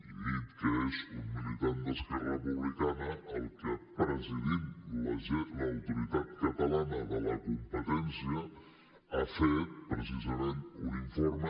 he dit que és un militant d’esquerra republicana el que presidint l’autoritat catalana de la competència ha fet precisament un informe